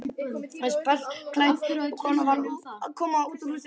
Pelsklædd kona var að koma út úr húsinu hans Hermundar.